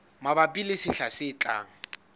mabapi le sehla se tlang